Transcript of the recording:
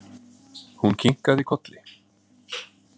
Hún kinkaði kolli.